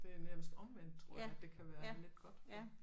Det er nærmest omvendt tror jeg at det kan være lidt godt ja